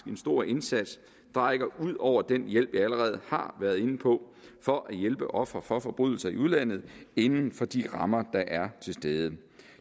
en stor indsats der rækker ud over den hjælp jeg allerede har været inde på for at hjælpe ofre for forbrydelser i udlandet inden for de rammer der er til stede